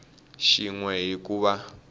xin we hi ku va